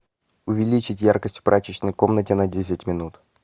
увеличить яркость в прачечной комнате на десять минут